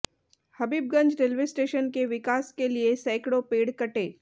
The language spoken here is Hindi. हबीबगंज रेलवे स्टेशन के विकास के लिए सैकड़ों पेड़ कटे